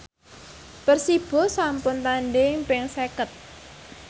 Persibo sampun tandhing ping seket